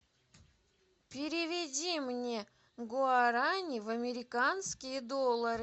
переведи мне гуарани в американские доллары